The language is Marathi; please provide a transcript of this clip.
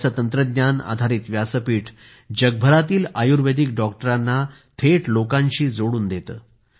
याचे तंत्रज्ञानआधारितव्यासपीठ जगभरातील आयुर्वेदिक डॉक्टरांना थेट लोकांशी जोडून देतो